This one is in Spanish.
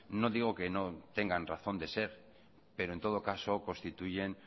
no digo que no tengan razón de ser pero en todo caso constituyen